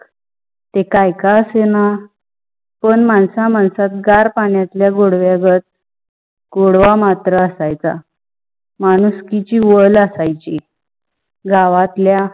ते कई का आसे न? पन मनसा माणसात गार पाण्यातला ला गोडव्या गत, गोडवा मात्र असायच्या. मनुस्कीची ओल असायाची गावातल्या